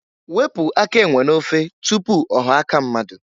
Wepu aka enwe n'ofe tupu ọghọọ aka mmadụ.